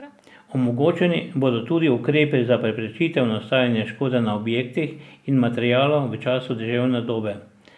Omogočeni bodo tudi ukrepi za preprečitev nastajanja škode na objektih in materialu v času deževne dobe.